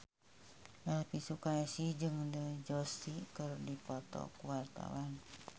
Elvi Sukaesih jeung Dev Joshi keur dipoto ku wartawan